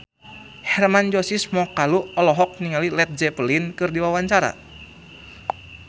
Hermann Josis Mokalu olohok ningali Led Zeppelin keur diwawancara